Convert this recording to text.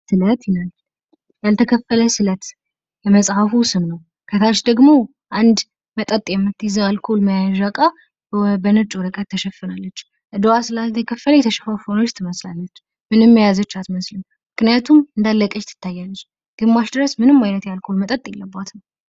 ያልተከፈለ ስለት የመጽሃፉ ስም ነው። ከታች ደግሞ አልኮል የምትይዝ የአልኮል መሸጫ እቃ በነጭ ወረቀት ትሸፍናለች። እዳዋ ስላልተከፈለ የተሸፋፈነች ትመስላለች። ምንም የያዘች አትመስልም። ምክንያቱም ባዶ እንደሆነች ትታያለች። እስከግማሽ ድረስ ምንም አይነት የአልኮል መጠጥ የለባትም።